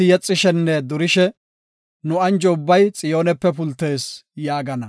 Enti yexishenne durishe, “Nu anjo ubbay Xiyoonepe pultees” yaagana.